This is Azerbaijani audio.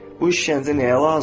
Bu işgəncə nəyə lazım?